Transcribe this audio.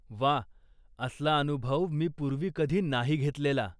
वा. असला अनुभव मी पूर्वी कधी नाही घेतलेला.